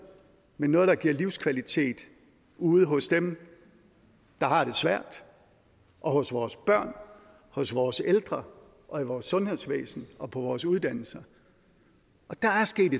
men noget der giver livskvalitet ude hos dem der har det svært og hos vores børn hos vores ældre og i vores sundhedsvæsen og på vores uddannelser og der